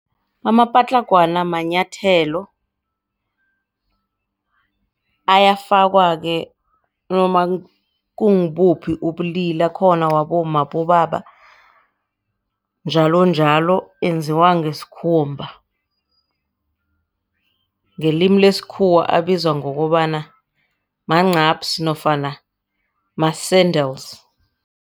Amapatlagwana manyathelo. Ayafakwa-ke nanoma kungibuphi ubulili akhona wabomma nawabobaba njalonjalo. Enziwa ngesikhumba, ngelimi lesikhuwa abizwa ngokobana mancaphsi nofana ma-sandals.